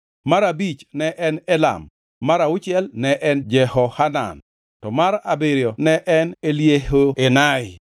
mar abich ne en Elam, mar auchiel ne en Jehohanan, to mar abiriyo ne en Eliehoenai.